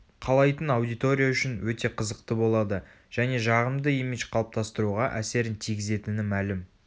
қалайтын аудитория үшін өте қызықты болады және жағымды имидж қалыптастыруға әсерін тигізетіні мәлім